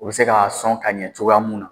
U bi se ka sɔn ka ɲɛ cogoya mun na